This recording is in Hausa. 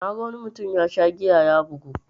Naga wani mutum yasha giya ya bugu.